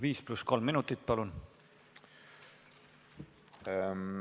5 + 3 minutit, palun!